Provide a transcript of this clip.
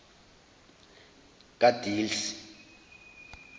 kadelsie